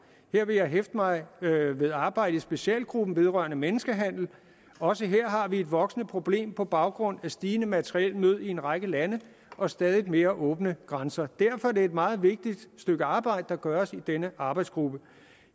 vil jeg hæfte mig ved arbejdet i specialgruppen vedrørende menneskehandel også her har vi et voksende problem på baggrund af stigende materiel nød i en række lande og stadigt mere åbne grænser derfor er det et meget vigtigt stykke arbejder der gøres i denne arbejdsgruppe